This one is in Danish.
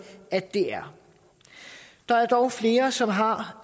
at det er der er dog flere som har